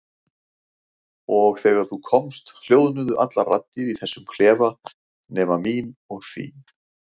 Og þegar þú komst hljóðnuðu allar raddir í þessum klefa nema mín og þín.